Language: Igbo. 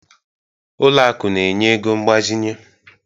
Ụlọ akụ na-enye ego mgbazinye